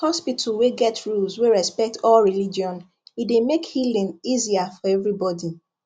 hospital wey get rules wey respect all religion e dey make healing easier for everybody